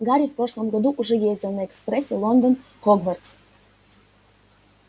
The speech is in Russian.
гарри в прошлом году уже ездил на экспрессе лондон хогвартс